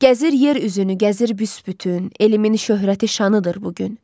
Gəzir yer üzünü, gəzir büsbütün, elimizin şöhrəti şanıdır bu gün.